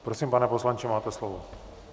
Prosím, pane poslanče, máte slovo.